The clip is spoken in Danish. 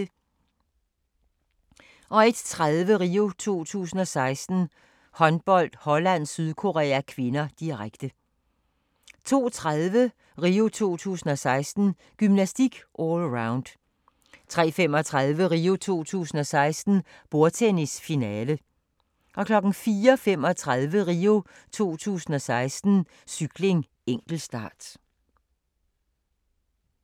01:30: RIO 2016: Håndbold - Holland-Sydkorea (k), direkte 02:30: RIO 2016: Gymnastik - allround 03:35: RIO 2016: Bordtennis - finale 04:35: RIO 2016: Cykling - enkeltstart